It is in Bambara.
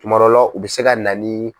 Tuma dɔ la u bɛ se ka na ni